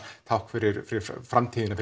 tákn fyrir framtíðina